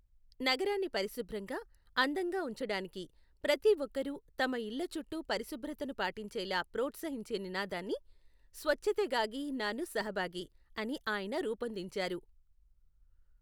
నగరాన్ని పరిశుభ్రంగా, అందంగా ఉంచడానికి ప్రతి ఒక్కరూ తమ ఇళ్ల చుట్టూ పరిశుభ్రతను పాటించేలా ప్రోత్సహించే నినాదాన్ని స్వచ్ఛతెగాగి నాను సహభాగి అని ఆయన రూపొందించారు.